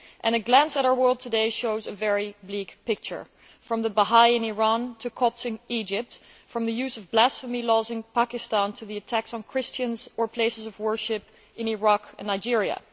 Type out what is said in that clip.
A glance at our world today shows a very bleak picture from the Bahá'i in Iran to Copts in Egypt, from the use of blasphemy laws in Pakistan to the attacks on Christians or places of worship in Iraq and Nigeria.